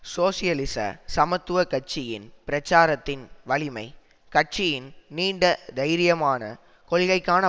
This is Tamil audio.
சோசியலிச சமத்துவ கட்சியின் பிரச்சாரத்தின் வலிமை கட்சியின் நீண்ட தைரியமான கொள்கைக்கான